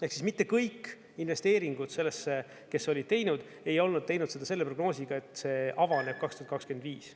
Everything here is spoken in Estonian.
Ehk siis mitte kõik investeeringud sellesse, kes olid teinud, ei olnud teinud seda selle prognoosiga, et see avaneb 2025.